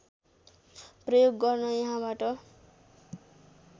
प्रयोग गर्न यहाँबाट